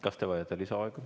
Kas te vajate lisaaega?